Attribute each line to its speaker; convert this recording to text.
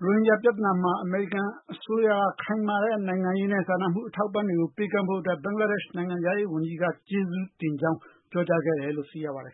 Speaker 1: ရိုဟင်ဂျာပြဿနာမှာ အမေရိကန်အစိုးရကခိုင်မာတဲ့ နိုင်ငံရေးနဲ့ စာနာမှုအထောက်အပံ့တွေကို ပေးကမ်းခဲ့တဲ့အတွက် ဘင်္ဂလား ဒက်ရှ်နိုင်ငံခြားရေး ဝန်ကြီးက ကျေးဇူးတင်ကြောင်း ပြောကြားခဲ့တယ်လို့ ဆိုပါတယ်